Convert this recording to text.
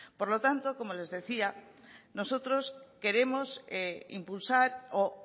por lo tanto como les decía nosotros queremos impulsar o